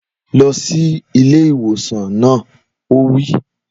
Lọ sí ilé ìwòsàn náà! Ó wí.